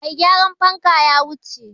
Mai gyaran fanka ya wuce.